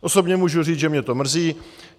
Osobně můžu říct, že mě to mrzí.